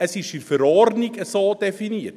Es ist in der so definiert.